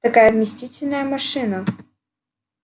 такая вместительная машина